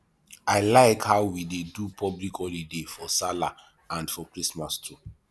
i like how we dey do public holiday for sallah and for christmas too